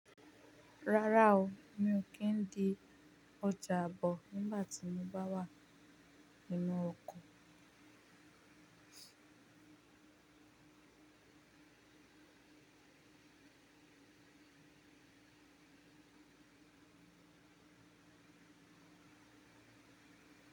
Rárá o, mi ò kí ń di ọjà abọ̀ nígbà tí mo bá wà nínú oko.